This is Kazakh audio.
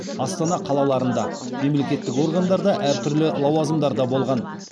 астана қалаларында мемлекеттік органдарда әр түрлі лауазымдарда болған